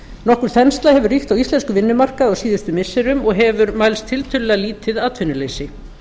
nokkur þensla hefur ríkt á íslenskum vinnumarkaði á síðustu missirum og hefur mælst tiltölulega lítið atvinnuleysi